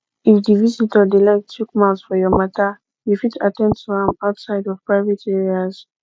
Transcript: if di visitor dey like chook mouth for your matter you fit at ten d to am outside of private areas